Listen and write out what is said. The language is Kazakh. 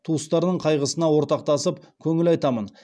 туыстарының қайғысына ортақтасып көңіл айтамын